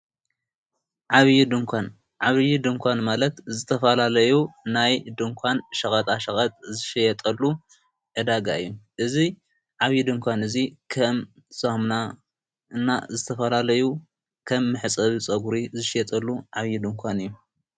ዓብዪ ድንኳን ዓብዪ ድንኳን ማለት ዝተፋላለዩ ናይ ድንኳን ሸቐጣ ሸቐት ዝሸየጠሉ ኣዳጋ እዩ እዙይ ዓብዪ ድንኳን እዙይ ኸም ዞምና እና ዝተፋላለዩ ከም ምሕጸቢ ጸጕሪ ዝሸጠሉ ዓብዪ ድንኳን እዩ።